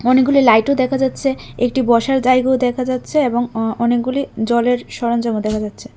অনেকগুলি লাইটও দেখা যাচ্ছে একটি বসার জায়গাও দেখা যাচ্ছে এবং ও অনেকগুলি জলের সরঞ্জামও দেখা যাচ্ছে।